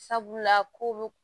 Sabula ko